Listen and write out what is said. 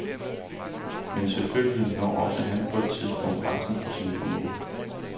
Men selvfølgelig når også han på et tidspunkt grænsen for sin formåen.